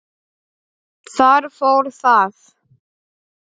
Þar fór það.